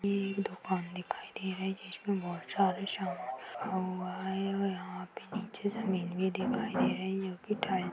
दुकान दिखाई दे रही है जिसमें बहोत सारे समान रखा हुआ है और यहाँ पे नीचे जमीन भी दिखाई दे रही है --